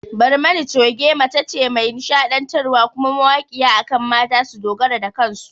Barmani Choge mace ce mai nishaɗantar wa kuma mawaƙiya akan mata su dogara da kansu